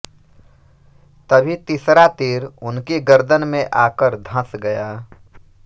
तभी तीसरा तीर उनकी गर्दन में आकर धंस गया